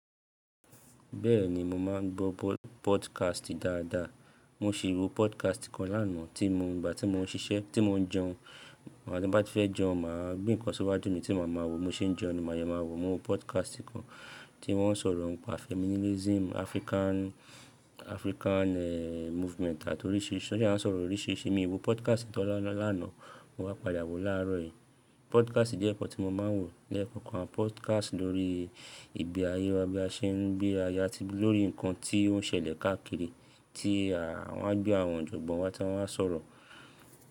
Bẹ́ẹ̀ ni, mo máa ń gbọ́ po-podcast dáadáa. Mo ṣì wo podcast kan lánàá tí mo, ìgbà tí mo ń ṣiṣẹ́, tí mo ń jẹun, in gbati n bá ti fẹ́ jẹun, màá gbe ǹkan síwájú mi tí máa ma wò, bi mo ṣe ń jẹun ni máa ye máa wò. Mo wo podcast kan tí wọ́n sọ̀rọ̀ ǹ pa feminism African, African eh movement àti oríṣiríṣi. Ọ ṣa sọ̀rọ̀ oríṣiríṣi. Mi wo podcast tan lá la lanàá, mo wá padà wò láàárọ̀ yìí. Podcast jẹ́ ǹkan tí mo máa ń wò. Lẹ́kọ̀ọ̀kan podcast lórí ìgbé ayé wa, bí a ṣe ń gbé aya ati lórí ǹkan tí ó ń ṣẹlẹ̀ káàkiri tí à wan gbé àwọn ọjogbọn wa tí wọ́n wáa sọ̀rọ̀